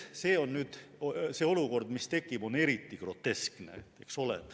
See olukord, mis tekib, on eriti groteskne.